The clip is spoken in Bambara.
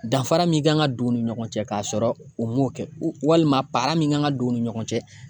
Danfara min kan ka don u ni ɲɔgɔn cɛ k'a sɔrɔ u m'o kɛ walima min kan ka don u ni ɲɔgɔn cɛ